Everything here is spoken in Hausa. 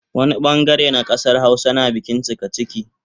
Wani bangare na kasar Hausa na bikin cikaciki